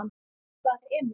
Hvar er Emil?